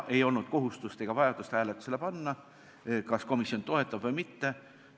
Ei olnud kohustust ega vajadust hääletusele panna, kas komisjon toetab või mitte.